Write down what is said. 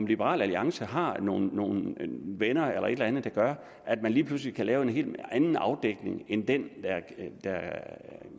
liberal alliance har nogle nogle venner eller et andet der gør at man lige pludselig kan lave en anden afdækning end den